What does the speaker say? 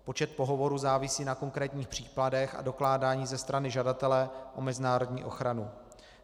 Počet pohovorů závisí na konkrétních případech a dokládání ze strany žadatele o mezinárodní ochranu.